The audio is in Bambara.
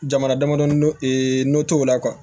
Jamana damadɔ ee n'o t'o la